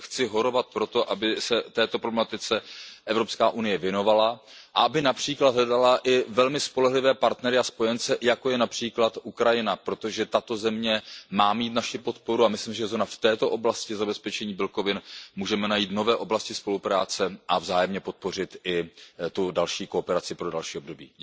Takže chci horovat pro to, aby se této problematice EU věnovala a aby například hledala velmi spolehlivé partnery a spojence, jako je například Ukrajina, protože tato země má mít naši podporu, a myslím, že zrovna v této oblasti zabezpečení bílkovin můžeme najít nové oblasti spolupráce a vzájemně podpořit i další kooperaci pro další období.